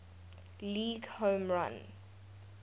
league home run